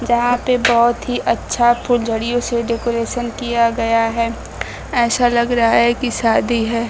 जहां पे बहोत ही अच्छा फुलझड़ियों से डेकोरेशन किया गया है ऐसा लग रहा है की शादी है।